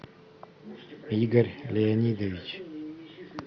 игорь леонидович